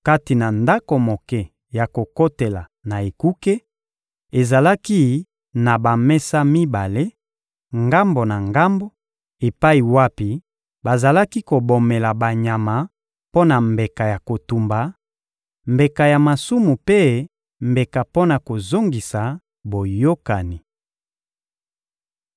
Kati na ndako moke ya kokotela na ekuke, ezalaki na bamesa mibale, ngambo na ngambo, epai wapi bazalaki kobomela banyama mpo na mbeka ya kotumba, mbeka ya masumu mpe mbeka mpo na kozongisa boyokani.